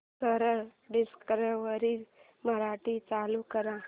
सरळ डिस्कवरी मराठी चालू कर